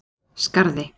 Skarði